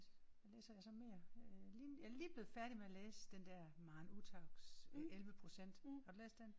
Hvad læser jeg så mere øh jeg er lige jeg er lige blevet færdig med at læse den der Maren Uthaugs 11 procent. Har du læst den?